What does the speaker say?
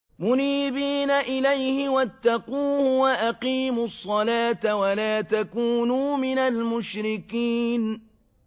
۞ مُنِيبِينَ إِلَيْهِ وَاتَّقُوهُ وَأَقِيمُوا الصَّلَاةَ وَلَا تَكُونُوا مِنَ الْمُشْرِكِينَ